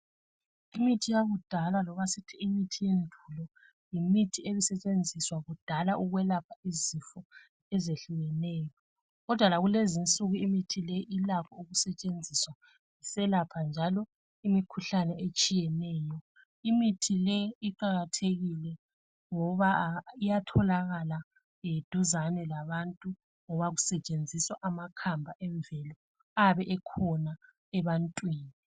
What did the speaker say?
Imithi yakudala loba sithi imithi yendulo yimithi ebisetshenziswa kudala ukwelapha izifo ezehlukeneyo. Kodwa lakulezinsuku imithi le ilakho ukusetshenziswa iselapha njalo imikhuhlane etshiyeneyo. Imithi le iqakathekile ngoba iyatholakala duzane labantu ngoba kesetshenziswa amakhamba emvelo ayabe ekhona ebantwini.